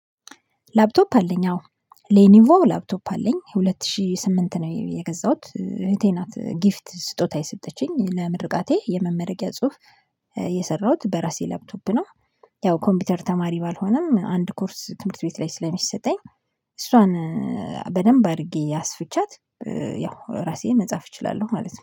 ላፕቶፕ አለኝ አዎ ሌኒቮ ላፕቶፕ አለኝ ሁለት ሺህ ስምንት ነው የገዛሁት እህቴ ናት ጊፍት ስጦታ የሰጠችኝ ለምርቃቴ የመመረቂያ ጽሁፍ የሰራሁት በራሴ ላፕቶፕ ነው። ያው ኮምፒውተር ተማሪ ባልሆንም አንድ ኮርስ ትምህርት ቤት ላይ ስለሚሰጠኝ እሷን በደንብ አድርጌ አስፍቻት ያው ራሴን መጻፍ እችላለሁ ማለት ነው